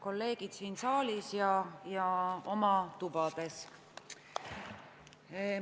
Kolleegid siin saalis ja oma tubades!